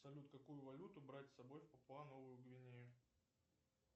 салют какую валюту брать с собой в папуа новую гвинею